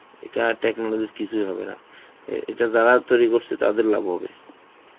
এইটা আর technology র কিছুই হবে না. এ~ এটা যারা তৈরি করছে, তাদের লাভ হবে.